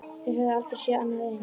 Þeir höfðu aldrei séð annað eins.